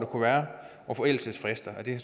kunne være og forældelsesfrister det